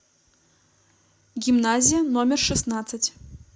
гимназия номер шестнадцать